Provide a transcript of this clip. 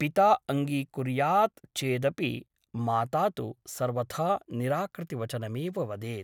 पिता अङ्गीकुर्यात् चेदपि माता तु सर्वथा निराकृतिवचनमेव वदेत् ।